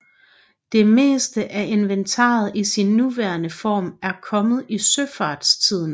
Det meste af inventaret i sin nuværende form er kommet i søfartstiden